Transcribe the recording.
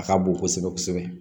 A ka bon kosɛbɛ kosɛbɛ